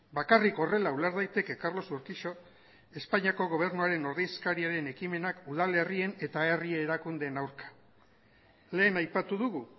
bakarrik horrela uler daiteke carlos urquijoren espainiako gobernuaren ordezkariaren ekimenak udalerrien eta herri erakundeen aurka lehen aipatu dugu